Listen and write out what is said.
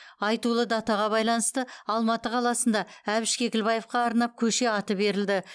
айтулы датаға байланысты алматы қаласында әбіш кекілбаевқа арнап көше аты берілді